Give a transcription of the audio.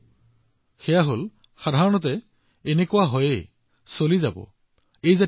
আৰু সেইটো কি আপোনাৰ কেতিয়াবা চিন্তা কৰিছে নেকি